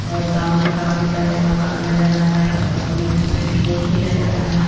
और सामने काफी सारे मकान नजर आ रहा है और बीच में खेत भी नजर आ रहा है।